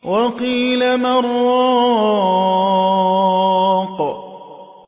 وَقِيلَ مَنْ ۜ رَاقٍ